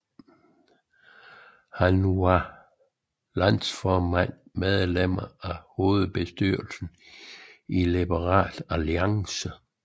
Han var som landsformand medlem af Hovedbestyrelsen i Liberal Alliance